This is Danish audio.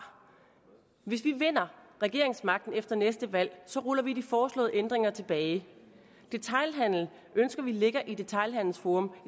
hvis vi vinder regeringsmagten efter næste valg ruller vi de foreslåede ændringer tilbage detailhandelen ønsker vi ligger i detailhandelsforum